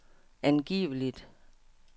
angiveligt